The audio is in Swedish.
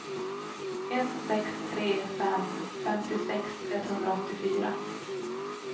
ett sex tre fem femtiosex etthundraåttiofyra